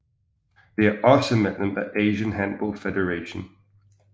De er også medlem af Asian Handball Federation